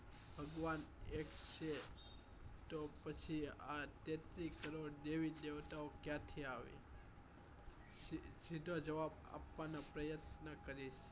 ભગવાન એક છે તો પછી આ તેત્રીસ કરોડ દેવી દેવતાઓ ક્યાંથી આવે સીધો જવાબ આપવા નો પ્રયત્ન કરીશ